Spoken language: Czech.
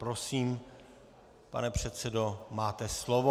Prosím, pane předsedo, máte slovo.